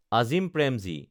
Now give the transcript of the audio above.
Azim Premji